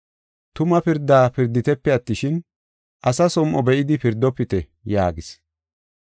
Tuma pirda pirditepe attishin, asa som7o be7idi pirdofite” yaagis.